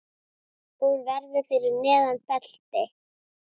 Hún verður fyrir neðan belti.